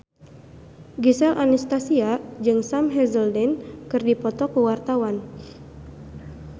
Gisel Anastasia jeung Sam Hazeldine keur dipoto ku wartawan